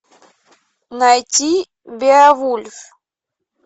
найти беовульф